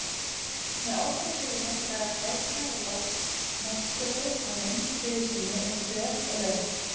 Með oddafluginu draga gæsirnar úr loftmótstöðu á löngu flugi sínu yfir höf og lönd.